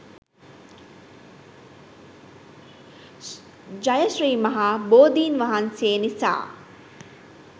ජය ශ්‍රී මහා බෝධීන් වහන්සේ නිසා